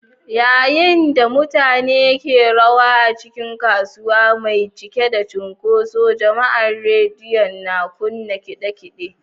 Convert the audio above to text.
Yayin da mutane ke rawa a cikin kasuwa mai cike da cunkoson jama’a, rediyon na kunna kade-kade.